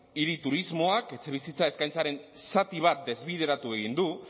hiri turismoak etxebizitza eskaintzaren zati bat desbideratu egin du